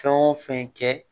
Fɛn o fɛn kɛ